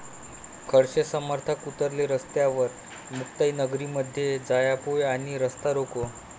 खडसे समर्थक उतरले रस्त्यावर, मुक्ताईनगरमध्ये जाळपोळ आणि रास्ता रोको